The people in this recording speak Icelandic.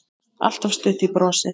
Alltaf stutt í brosið.